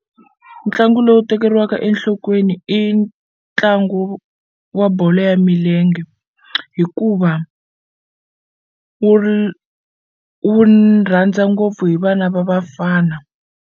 Ntlangu lowu tekeriwaka enhlokweni i ntlangu wa bolo ya milenge hikuva wu ri wu rhandza ngopfu hi vana va vafana.